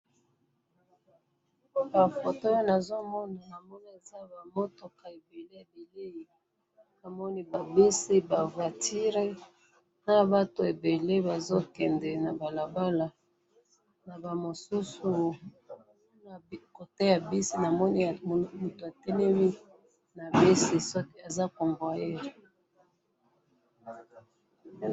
Na moni ba mituka ebele ba voitures na ba bus, na batu ebele bazo tambola na moni na convoyeur atelemi.